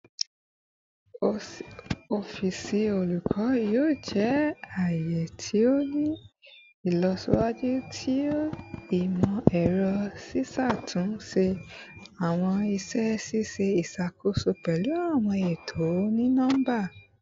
Ọfiisi olukọ yoo jẹ aaye to ti ni ilọsiwaju ti imọ-ẹrọ, ṣiṣatunṣe awọn iṣẹ ṣiṣe iṣakoso pẹlu awọn eto oni-nọmba.